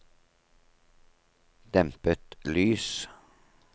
dempet lys